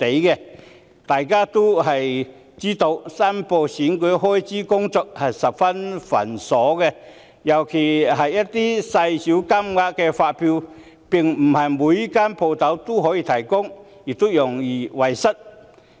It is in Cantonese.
眾所周知，申報選舉開支的工作十分繁瑣，尤其是一些金額細小的發票，並非所有店鋪均能提供，亦容易遺失。